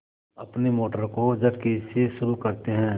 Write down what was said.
अपनी मोटर को झटके से शुरू करते हैं